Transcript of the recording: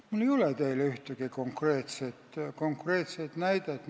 Mul ei ole teile ühtegi konkreetset näidet tuua.